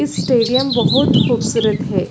इ स्टेडियम बहोत खुबसूरत हे।